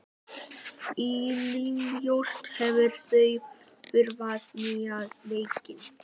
Elínbjört, hefur þú prófað nýja leikinn?